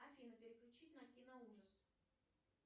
афина переключить на кино ужас